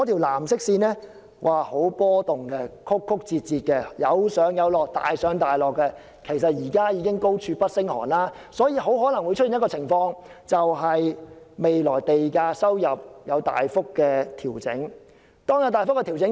藍色線十分波動，非常曲折、大上大落——其實現在已經高處不勝寒——未來很可能出現賣地收入大幅調整的情況。